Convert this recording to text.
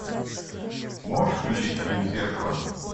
можешь включить фильм зеркало